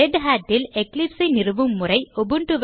ரெதட் ல் எக்லிப்ஸ் ஐ நிறுவும் செயல்முறை